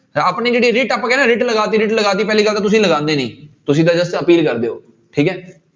ਆਪਣੀ ਜਿਹੜੀ writ ਆਪਾਂ ਕਹਿੰਦੇ ਹਾਂ writ ਲਗਾ ਦਿੱਤੀ writ ਲਗਾ ਦਿੱਤੀ ਪਹਿਲੀ ਗੱਲ ਤਾਂ ਤੁਸੀਂ ਲਗਾਉਂਦੇ ਨੀ, ਤੁਸੀਂ ਤਾਂ just ਅਪੀਲ ਕਰਦੇ ਹੋ ਠੀਕ ਹੈ।